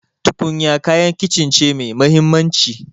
Tukunya kayan kicin ce mai mahimmanci.